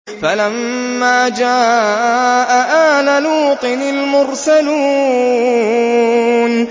فَلَمَّا جَاءَ آلَ لُوطٍ الْمُرْسَلُونَ